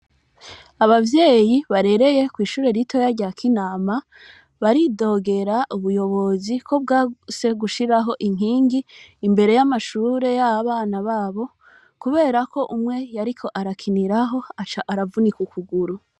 Abavyeyi barereye kw'ishure ritoyi rya Kinama baridogera ubuyobozi ko bwanse gushiraho inkingi imbere y'amashuri y'abana babo kubera ko umwe yariko arakiniraho aca aravunika ukuguru.